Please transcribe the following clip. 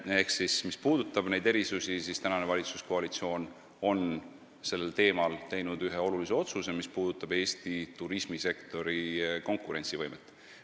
Ehk siis, mis puudutab maksuerisusi, siis valitsuskoalitsioon on teinud sellel teemal ühe olulise otsuse, mis puudutab Eesti turismisektori konkurentsivõimet.